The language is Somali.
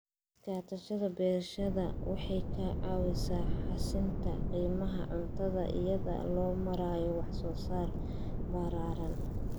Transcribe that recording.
Iskaashatada beerashada waxay ka caawisaa xasilinta qiimaha cuntada iyada oo loo marayo wax soo saar ballaaran.